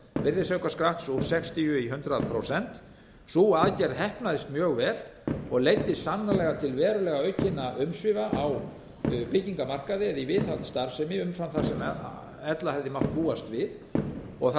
virðisaukaskatts úr sextíu í hundrað prósent sú aðgerð heppnaðist mjög vel og leiddi sannarlega til verulegra aukinna umsvifa á byggingamarkaði eða í viðhaldsstarfsemi umfram það sem ella hefði mátt búast við það tókst í raun með